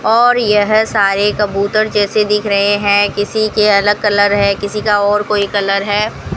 और यह सारे कबूतर जैसे दिख रहे हैं किसी के अलग कलर है किसी का और कोई कलर है।